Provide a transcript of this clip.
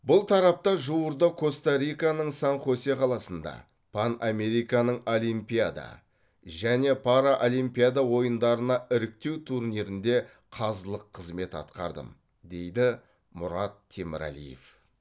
бұл тарапта жуырда коста риканың сан хосе қаласында пан американың олимпиада және параолимпиада ойындарына іріктеу турнирінде қазылық қызмет атқардым дейді мұрат темірәлиев